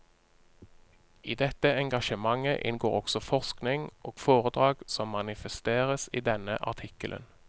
I dette engasjementet inngår også forskning og foredrag som manifesteres i denne artikkelen.